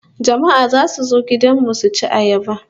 Jama'a zasu zo gudan mu suci ayaba